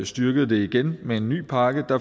styrkede det igen med en ny pakke